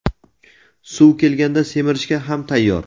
suv kelganda simirishga ham tayyor.